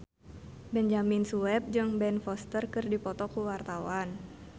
Benyamin Sueb jeung Ben Foster keur dipoto ku wartawan